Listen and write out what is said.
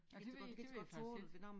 Det ved det ved jeg faktisk ikke